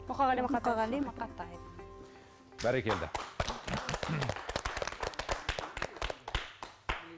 мұқағали мақатаев мұқағали мақатаев бәрекелді